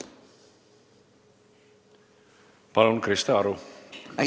Palun, Krista Aru!